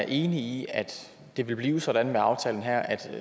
enig i at det vil blive sådan med aftalen her at